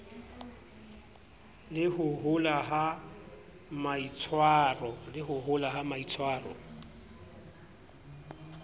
le ho bola ha maitshwaro